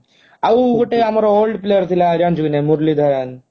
ଆଉ ଗୋଟେ ଆମର old player ଥିଲା ଜାଣିଛୁ କି ନାହିଁ ମୂରଲୀ ଧରାନ